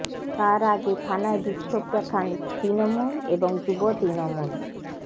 তার আগে থানায় বিক্ষোভ দেখান তৃণমূল এবং যুব তৃণমূল